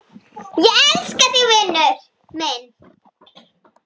Ég elska þig, vinur minn.